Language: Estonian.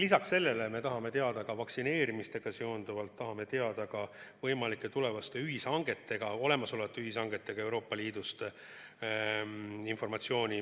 Lisaks sellele me tahame vaktsineerimisega seoses informatsiooni Euroopa Liidu võimalike tulevaste ühishangete ja olemasolevate ühishangete kohta.